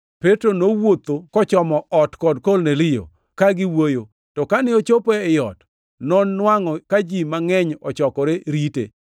Petro nowuotho kochomo ot kod Kornelio, ka giwuoyo, to kane ochopo ei ot, nonwangʼo ka ji mangʼeny ochokore rite.